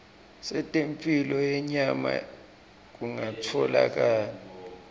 setemphilo yenyama kungatfolakala